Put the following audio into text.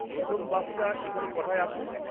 প্রথম বাসটা এখানে ক'টায় আসবে?